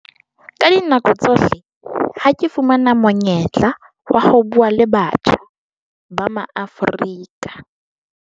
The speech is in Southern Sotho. Ka dinako tsohle ha ke fumana monyetla wa ho bua le batjha ba Maafrika